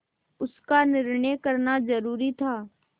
उसका निर्णय करना जरूरी था